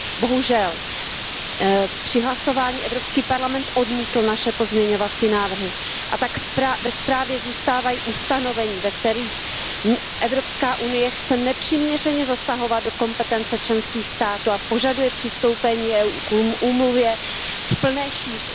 Bohužel při hlasování Evropský parlament odmítl naše pozměňovací návrhy a tak ve zprávě zůstávají ustanovení, ve kterých Evropská unie chce nepřiměřeně zasahovat do kompetence členských států a požaduje přistoupení EU k úmluvě v plné šíři.